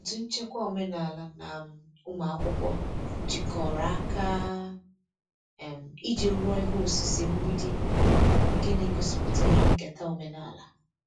Otu nchekwa omenala na um ụmụ akwụkwọ jikọrọ aka um iji rụọ ihe osise mgbidi nke na-egosipụta ihe nketa omenala.